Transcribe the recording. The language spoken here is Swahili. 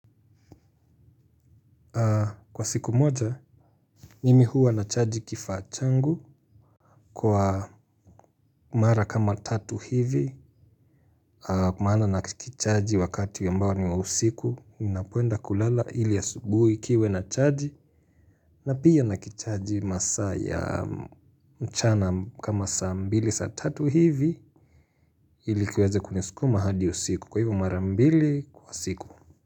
Kwa siku moja, nimi huwa na chaji kifaa changu. Kwa mara kama tatu hivi, kwa maana na kichaji wakati ambao niwa usiku, ninapoenda kulala ili asubuhi kiwe na chaji na pia na kichaji masaa ya mchana kama saa mbili saa tatu hivi ilikiweze kunisikuma hadi usiku. Kwa hivyo mara mbili kwa siku.